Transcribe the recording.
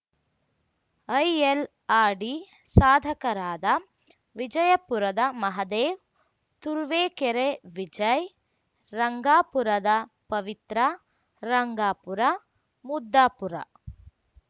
ILRD ಸಾಧಕರಾದ ವಿಜಯಪುರದ ಮಹದೇವ್‌ ತುರುವೇಕೆರೆ ವಿಜಯ್‌ ರಂಗಾಪುರದ ಪವಿತ್ರಾ ರಂಗಾಪುರ ಮುದ್ದಾಪುರ